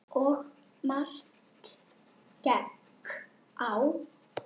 Og margt gekk á.